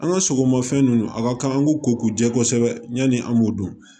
An ka sogomafɛn ninnu a ka kan an k'u ko k'u jɛ kosɛbɛ ɲani an b'o dɔn